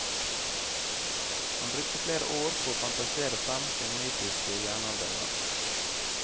Han brukte flere år på å fantasere frem sin mytiske jernalderverden.